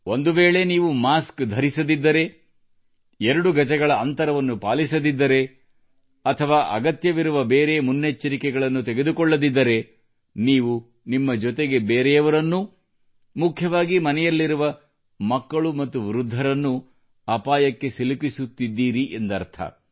ಒಂದು ವೇಳೆ ನೀವು ಮಾಸ್ಕ್ ಧರಿಸದಿದ್ದರೆ 2 ಗಜಗಳ ಅಂತರವನ್ನು ಪಾಲಿಸದಿದ್ದರೆ ಅಥವಾ ಅಗತ್ಯವಿರುವ ಬೇರೆ ಮುನ್ನೆಚ್ಚರಿಕೆಗಳನ್ನು ತೆಗೆದುಕೊಳ್ಳದಿದ್ದರೆ ನೀವು ನಿಮ್ಮ ಜೊತೆಗೆ ಬೇರೆಯವರನ್ನೂ ಮುಖ್ಯವಾಗಿ ಮನೆಯಲ್ಲಿರುವ ಮಕ್ಕಳು ಮತ್ತು ವೃದ್ಧರನ್ನು ಅಪಾಯಕ್ಕೆ ಸಿಲುಕಿಸುತ್ತಿದ್ದೀರಿ ಎಂದರ್ಥ